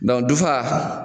Dɔn dufa